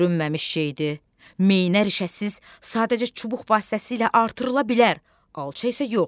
Görünməmiş şeydi, meynər işəsiz sadəcə çubuq vasitəsilə artırıla bilər, alça isə yox.